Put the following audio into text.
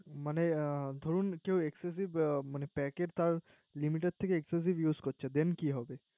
মনে দরুন কেউ Acssecive Pack তার Limit এর থেকে Use করছে Then কি হব